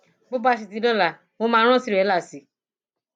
bó bá ti di lọla mo máa rán tìrẹlà sí i